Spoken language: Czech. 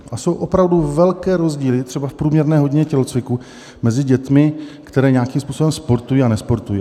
A jsou opravdu velké rozdíly třeba v průměrné hodině tělocviku mezi dětmi, které nějakým způsobem sportují a nesportují.